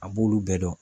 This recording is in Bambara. A b'olu bɛɛ dɔn